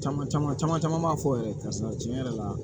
Caman caman caman b'a fɔ yɛrɛ karisa